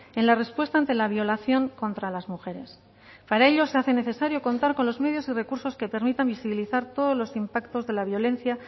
en la respuesta ante la violación contra las mujeres para ello se hace necesario contar con los medios y recursos que permitan visibilizar todos los impactos de la violencia